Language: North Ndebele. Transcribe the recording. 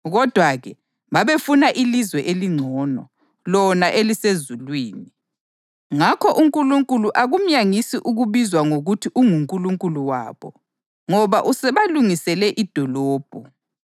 Kodwa-ke bona babefuna ilizwe elingcono, lona elisezulwini. Ngakho uNkulunkulu akumyangisi ukubizwa ngokuthi unguNkulunkulu wabo, ngoba usebalungisele idolobho.